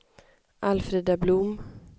Alfrida Blom